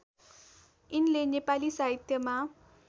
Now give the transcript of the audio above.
यिनले नेपाली साहित्यमा